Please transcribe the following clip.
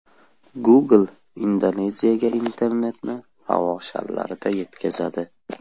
Google Indoneziyaga internetni havo sharlarida yetkazadi.